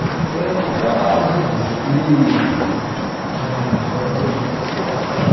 Então, porque há amigos que ãh tiveram problemas de aceitação.